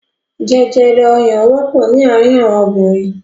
Jẹjèjẹ ọyàn wọ́pọ̀ ní àárín àwọn obìnrin.